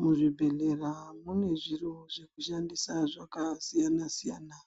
Muzvibhehlera mune zviro zvekushandisa zvakasiyana siyana